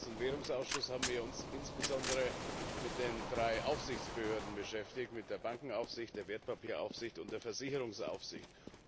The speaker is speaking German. Im Ausschuss für Wirtschaft und Währung haben wir uns insbesondere mit den drei Aufsichtsbehörden beschäftigt, mit der Bankenaufsicht, der Wertpapieraufsicht und der Versicherungsaufsicht.